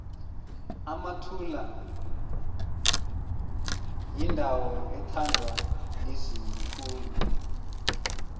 emathula yindawo ethandwa lizulu khulu